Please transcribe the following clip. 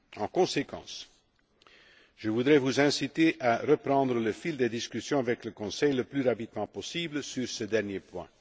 En conséquence, je voudrais vous inciter à reprendre le fil des discussions avec le Conseil le plus rapidement possible sur ce dernier point.